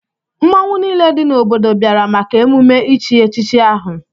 Mmọnwụ niile dị n'obodo bịara maka emume ichi echichi ahụ.